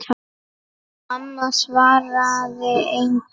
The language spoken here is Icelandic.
Mamma svaraði engu.